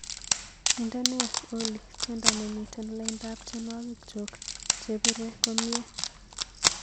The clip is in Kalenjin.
Indene oli tyendo nemiten laindap tyenwogikchuk chebire komnyei